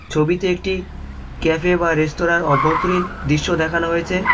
ছবিতে একটি ক্যাফে বা রেস্তোরাঁর অভ্যন্তরীণ দৃশ্য দেখানো হয়েছে।